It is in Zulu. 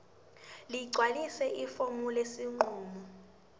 ligcwalise ifomu lesinqumo